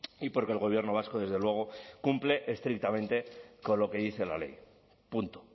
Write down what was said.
y porque el gobierno vasco desde luego cumple estrictamente con lo que dice la ley punto